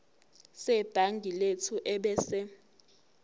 sebhangi lethu ebese